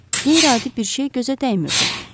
Qeyri-adi bir şey gözə dəymirdi.